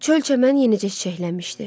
Çöl-çəmən yenicə çiçəklənmişdi.